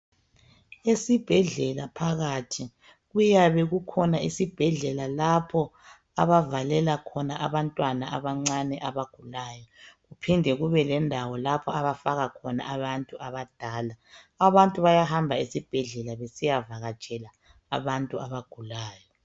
Esibhedlela phakathi kuyabe kukhona isibhedlela lapho abavalela khona abantwana abancane abagulayo. kuphinde kubelendawo lapha abafaka abantu abadala. Abantu bayahamba esibhedlela besiyavakatshela abantu abagulayo.